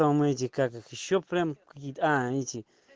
там эти как ещё прямо какие-то а эти